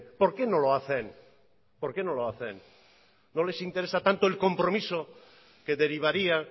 por qué no lo hacen por qué no lo hacen no les interesa tanto el compromiso que derivaría